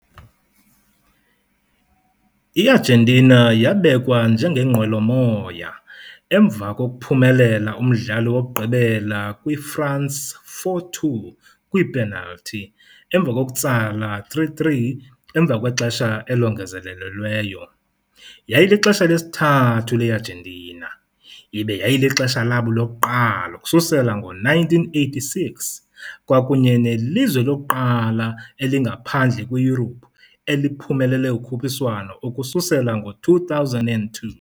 IArgentina yabekwa njengengqwelomoya emva kokuphumelela umdlalo wokugqibela kwiFrance 4-2 kwiipenalti emva kokutsala 3-3 emva kwexesha elongezelelweyo. Yayilixesha lesithathu leArgentina, ibe yayilixesha labo lokuqala ukususela ngo-1986, kwakunye nelizwe lokuqala ngaphandle kweYurophu eliphumelele ukhuphiswano ukususela ngo-2002.